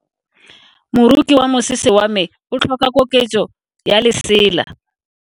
Moroki wa mosese wa me o tlhoka koketso ya lesela.